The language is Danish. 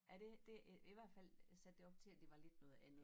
Ja det det i i hvert fald sat det op til at det var lidt noget andet